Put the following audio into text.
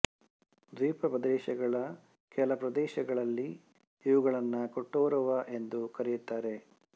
ದ್ವೀಪ ಪ್ರದೇಶಗಳ ಕೆಲ ಪ್ರದೇಶಗಳಲ್ಲಿ ಇವುಗಳನ್ನು ಕೊಟ್ಟೋರುವಾ ಎಂದೂ ಕರೆಯುತ್ತಾರೆ